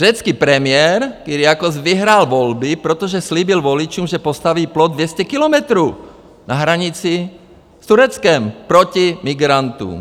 Řecký premiér Kyriakos vyhrál volby, protože slíbil voličům, že postaví plot 200 kilometrů na hranici s Tureckem proti migrantům.